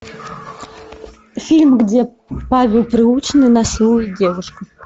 фильм где павел прилучный насилует девушку